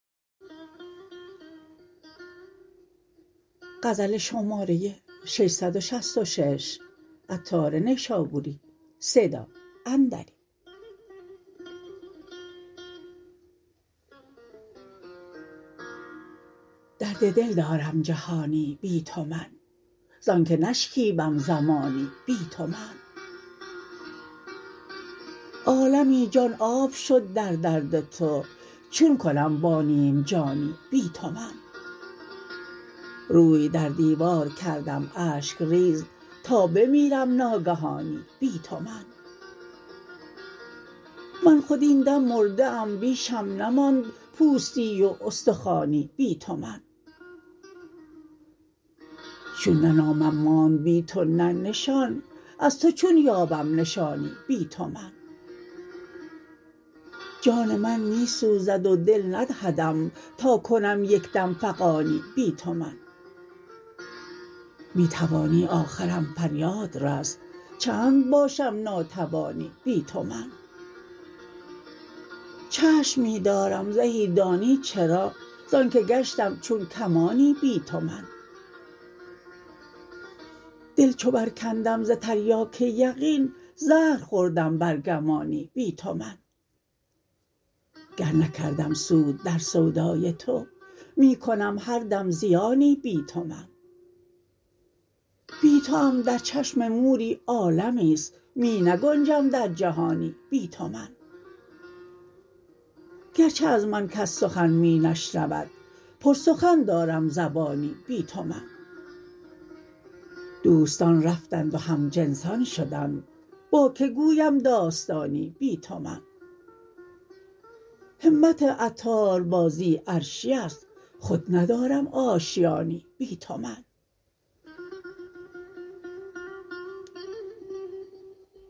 درد دل دارم جهانی بی تو من زانکه نشکیبم زمانی بی تو من عالمی جان آب شد در درد تو چون کنم با نیم جانی بی تو من روی در دیوار کردم اشک ریز تا بمیرم ناگهانی بی تو من من خود این دم مرده ام بیشم نماند پوستی و استخوانی بی تو من چون نه نامم ماند بی تو نه نشان از تو چون یابم نشانی بی تو من جان من می سوزد و دل ندهدم تا کنم یک دم فغانی بی تو من می توانی آخرم فریاد رس چند باشم ناتوانی بی تو من چشم می دارم زهی دانی چرا زانکه گشتم چون کمانی بی تو من دل چو برکندم ز تریاک یقین زهر خوردم بر گمانی بی تو من گر نکردم سود در سودای تو می کنم هر دم زیانی بی تو من بی توام در چشم موری عالمی است می نگنجم در جهانی بی تو من گرچه از من کس سخن می نشنود پر سخن دارم زبانی بی تو من دوستان رفتند و هم جنسان شدند با که گویم داستانی بی تو من همت عطار بازی عرشی است خود ندارم آشیانی بی تو من